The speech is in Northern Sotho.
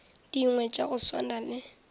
dingwe tša go swana le